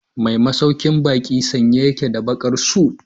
Mai masaukin baki sanye yake da bakar suit.